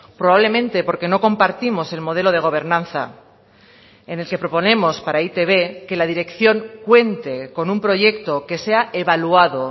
probablemente porque no compartimos el modelo de gobernanza en el que proponemos para e i te be que la dirección cuente con un proyecto que sea evaluado